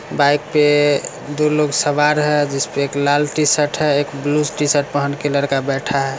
Bike पे दो लोग सवार है जिसपे लाल टीशर्ट हैं एक ब्लू टी-शर्ट पहन के लड़का बैठा है।